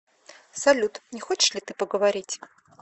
салют не хочешь ли ты поговорить